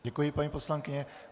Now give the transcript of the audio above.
Děkuji, paní poslankyně.